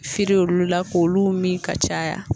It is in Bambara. olu la k'olu min ka caya